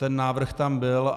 Ten návrh tam byl.